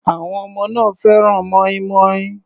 Àwọn ọmọ náà fẹ́ràn mọ́ínmọ́ín.